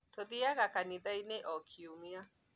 Tũthiaga kanithanĩ o kĩumia